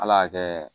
Ala y'a kɛ